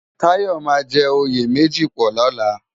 Tayo má jè óyé mèji pò lòlá